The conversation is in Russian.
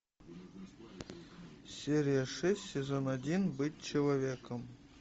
серия шесть сезон один быть человеком